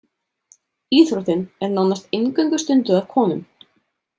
Íþróttin er nánast eingöngu stunduð af konum.